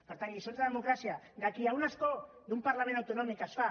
per tant lliçons de democràcia de qui amb un escó d’un parlament autonòmic es fa